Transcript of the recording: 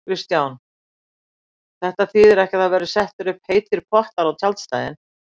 Kristján: Þetta þýðir ekki að það verði settir upp heitir pottar á tjaldstæðin?